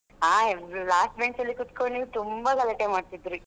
ಹಾ last bench ಅಲ್ಲಿ ಕುತ್ಕೊಂಡು ನೀವು ತುಂಬ ಗಲಾಟೆ ಮಾಡ್ತಿದ್ರಿ.